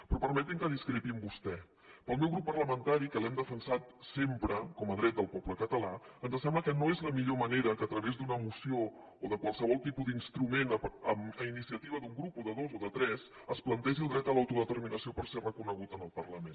però permeti’m que discrepi amb vostè al meu grup parlamentari que l’hem defensat sempre com a dret del poble català ens sembla que no és la millor manera que a través d’una moció o de qualsevol tipus d’instrument a iniciativa d’un grup o de dos o de tres es plantegi el dret a l’autodeterminació perquè sigui reconegut en el parlament